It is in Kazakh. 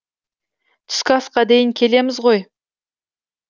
түскі асқа дейін келеміз ғой